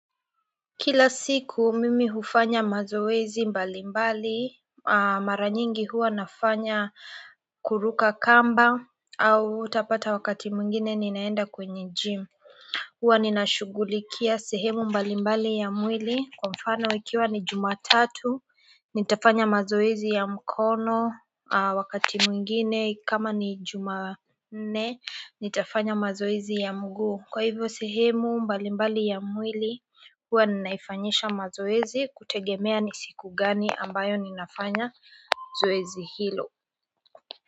Kila siku mimi hufanya mazoezi mbali mbali mara nyingi huwa nafanya kuruka kamba au utapata wakati mwingine ninaenda kwenye gym huwa nina shughulikia sehemu mbali mbali ya mwili kwa mfano ikiwa ni Jumatatu nitafanya mazoezi ya mkono wakati mwingine kama ni Jumanne nitafanya mazoezi ya mguu kwa hivyo sehemu mbalimbali ya mwili huwa ninaifanyisha mazoezi kutegemea ni siku gani ambayo ninafanya zoezi hilo.